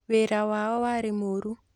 Wĩra wao warĩ mũru